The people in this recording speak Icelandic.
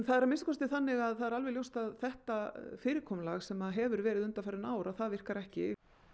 það er að minnsta kosti þannig að það er alveg ljóst að þetta fyrirkomulag sem hefur verið undanfarin ár að það virkar ekki